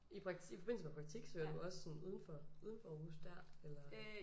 I praktik i forbindelse med praktik søger du også sådan uden for uden for Aarhus der eller?